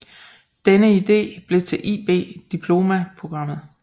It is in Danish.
Denne idé blev til IB Diploma Programmet